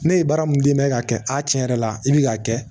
Ne ye baara mun di n bɛ ka kɛ a tiɲɛ yɛrɛ la i bɛ k'a kɛ